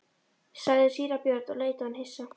sagði síra Björn og leit á hann hissa.